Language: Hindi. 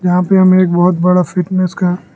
यहां पे एक बहुत बड़ा फिटनेस का--